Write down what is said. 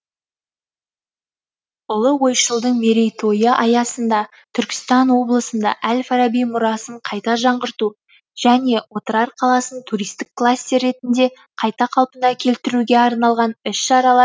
ұлы ойшылдың мерейтойы аясында түркістан облысында әл фараби мұрасын қайта жаңғырту және отырар қаласын туристік кластер ретінде қайта қалпына келтіруге арналған іс шаралар